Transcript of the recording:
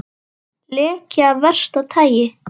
Leki af versta tagi